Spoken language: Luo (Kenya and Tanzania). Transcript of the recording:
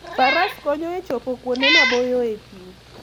Faras konyo e chopo kuonde maboyo e thim.